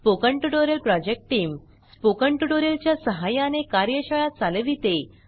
spoken tutorial project team spoken tutorial च्या सहाय्याने कार्यशाळा चालविते